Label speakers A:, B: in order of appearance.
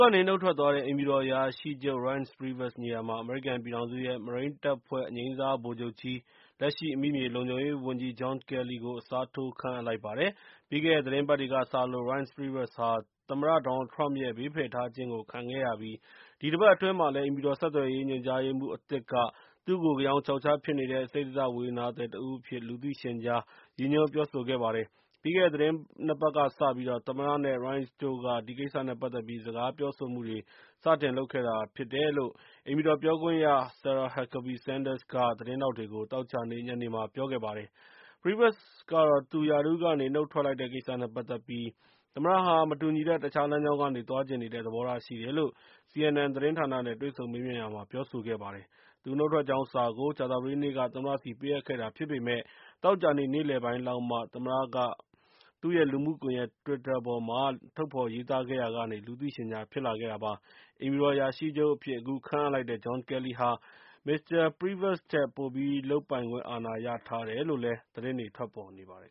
A: ကနေနုတ်ထွက်သွားတဲ့ အိမ်ဖြူတော်အရာရှိချုပ် Reince Priebus နေရာမှာ အမေရိကန်ပြည်ထောင်စုရဲ့ မရိန်းတပ်ဖွဲ့ အငြိမ်းစားဗိုလ်ချုပ်ကြီး လက်ရှိ အမိမြေလုံခြုံရေးဝန်ကြီး John Kelly ကို အစားထိုး ခန့်အပ်လိုက်ပါတယ်။ ပြီးခဲ့တဲ့သီတင်းပတ်တွေကစလို့ Reince Priebus ဟာ သမ္မတ Donald Trump ရဲ့ ဘေးဖယ်ထားခြင်းကို ခံခဲ့ရပြီး ဒီတပတ်အတွင်းမှာလည်း အိမ်ဖြူတော်ဆက်သွယ်ရေးညွှန်ကြားရေးမှူး အသစ်က သူ့ကို ဂယောင်ခြောက်ခြားဖြစ်နေတဲ့၊ စိတ္တဇဝေဒနာသည်တဦးအဖြစ် လူသိရှင်ကြား ရည်ညွှန်းပြောဆိုခဲ့ပါတယ်။ ပြီးခဲ့တဲ့ သီတင်းနှစ်ပတ်ကစပြီးတော့ သမ္မတနဲ့ Reince တို့က ဒီကစ္စနဲ့ပတ်သက်ပြီး စကားပြောဆိုမှုတွေ စတင်ခဲ့တာဖြစ်တယ်လို့ အိမ်ဖြူတော် ပြောခွင့်ရ Sarah Huckabee Sanders က သတင်းထောက်တွေကို သောကြာနေ့ ညနေမှာ ပြောဆိုခဲ့ပါတယ်။ Priebus ကတော့ သူရာထူးကနေ နုတ်ထွက်လိုက်တဲ့ကိစ္စနဲ့ပတ်သက်ပြီး၊ သမ္မတဟာ မတူညီတဲ့ တခြားလမ်းကြောင်းကနေ သွားချင်နေတဲ့ သဘောထားရှိတယ်လို့CNN သတင်းဌာနနဲ့တွေ့ဆုံမေးမြန်းရာမှာ ပြောဆိုခဲ့ပါတယ်။ သူနုတ်ထွက်ကြောင်းစာကို ကြာဿပတေးနေ့က သမ္မတဆီကိုပေးအပ်ခဲ့တာဖြစ်ပေမယ့် သောကြာနေ့ နေ့လယ်ပိုင်းလောက်ကမှ သမ္မတ Trump က သူ့ရဲ့ လူမှုကွန်ယက် Twitter ပေါ်မှာ ထုတ်ဖော်ရေးသားခဲ့ရာက လူသိရှင်ကြား ဖြစ်လာခဲ့တာပါ။ အိမ်ဖြူတော်အရာရှိချုပ်အဖြစ် အခုခန့်အပ်လိုက်တဲ့ John Kelly ဟာ မစ္စတာ Reince Priebus ထက် ပိုပြီး လုပ်ပိုင်ခွင့်အာဏာရထားတယ်လို့လည်း သတင်းတွေထွက်ပေါ်နေပါတယ်